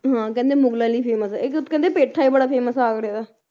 ਹਾਂ ਕਹਿੰਦੇ ਮੁਗ਼ਲਾਂ ਲਈ famous ਆ ਇੱਕ ਕਹਿੰਦੇ ਪੇਠਾ ਵੀ ਬੜਾ famous ਆ ਆਗਰੇ ਦਾ